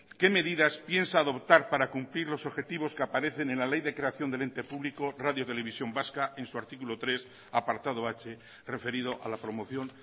qué medidas piensa adoptar para cumplir los objetivos que aparecen en la ley de creación del ente público radio televisión vasca en su artículo tres apartado h referido a la promoción